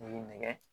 nɛgɛ